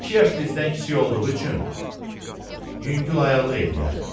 İki yaş bizdən kiçik olduğu üçün yüngül ayaqlıq eləyər.